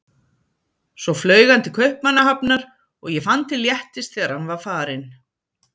Svo flaug hann til Kaupmannahafnar og ég fann til léttis þegar hann var farinn.